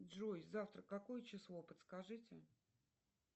джой завтра какое число подскажите